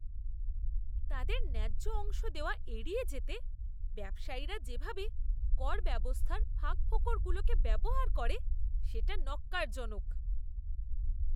তাদের ন্যায্য অংশ দেওয়া এড়িয়ে যেতে ব্যবসায়ীরা যেভাবে করব্যবস্থার ফাঁকফোকরগুলোকে ব্যবহার করে, সেটা ন্যক্কারজনক।